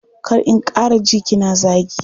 Kar in ƙara ji kina zagi.